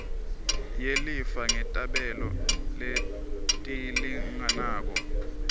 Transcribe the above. yelifa ngetabelo letilinganako